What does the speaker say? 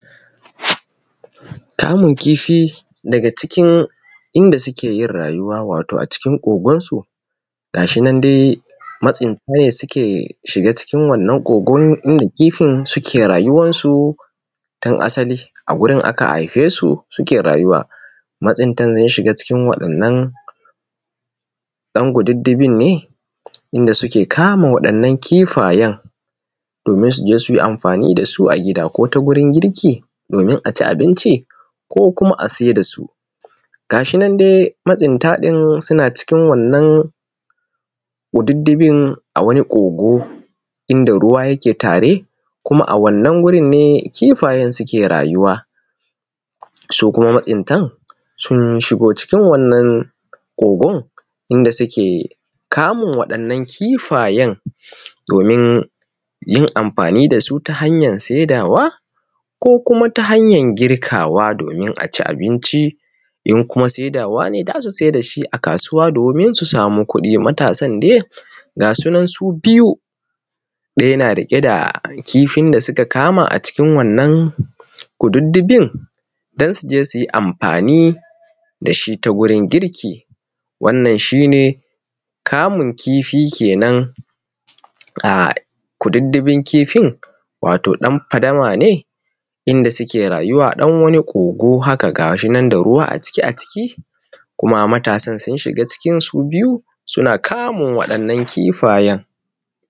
Kamun kifi daga cikin inda suke yin rayuwa wato a cikin kogonsu. Gashi nan dai masinta ye suke shiga cikin wannan kogon inda kifin suke rayuwarsu tun asali a gurin aka haifesu suke rayuwa. Matsintan sun shiga cikin wannan ɗan kukudufin ne inda suke kama waɗannan kifayen domin suke je su yi amfani dasu a gida, ko ta gurin girki domin aci abinci, ko kuma ase dasu. Gashi nan de matsinta din suna cikin wannan kududufin a wani kogo inda ruwa yake tare, kuma a wannan gurin ne kifayen suke rayuwa, su kuma matsinta sun shigo cikin wannan kogon inda suke kamun waɗannan kifayen domin yin amfani dasu ta hanyar saidawa, ko kuma ta hanyar girkawa domin aci abinci, in kuma saidawa ne za su saida shi a kasuwa domin su samu kuɗi. Matasan dai gasu nan su biyu, ɗaya na riƙe da kifin da suka kama a acikin wannan kududufin don su je suyi amfani dashi ta gurin girki. wannan shi ne kamun kifi kenen a kududufin kifin (wato dan fadama ne inda suke rayuwa) ɗan wani kogo haka gashi nan da ruwa a cike a ciki kuma matasan sun shiga cikin su biyu suna kamun waɗannan kifayen.